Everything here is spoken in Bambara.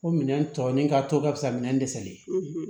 Ko minɛn tɔ ni ka to ka fisa minɛn dɛsɛlen ye